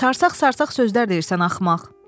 Sarsaq-sarsaq sözlər deyirsən axmaq.